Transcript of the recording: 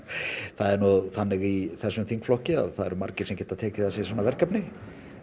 það er nú þannig í þessum þingflokki að það eru margir sem geta tekið að sér svona verkefni